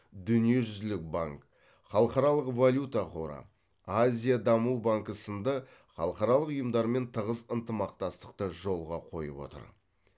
дүниежүзілік банк халықаралық валюта қоры азия даму банкі сынды халықаралық ұйымдармен тығыз ынтымақтастықты жолға қойып отыр